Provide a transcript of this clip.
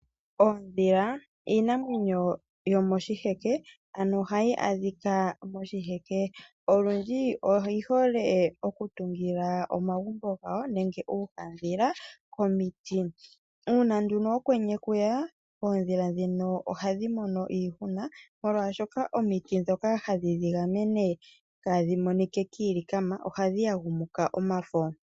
Oodhila iinamwenyo yomoshiheke. Ano ohayi adhika moshiheke. Olundji oyi hole oku tungila omagumbo gawo nenge uuhadhila komiiti. Una nduno okwenye kweya oodhila dhino ohadhi mono iihuna. Molwashoka omiiti dhoka hadhi dhi gamene kaadhi monike kiilikama ohadhi yagumuka omafo.